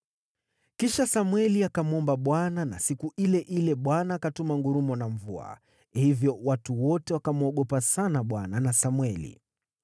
Kisha Samweli akamwomba Bwana , na siku ile ile Bwana akatuma ngurumo na mvua. Hivyo watu wote wakamwogopa sana Bwana na Samweli.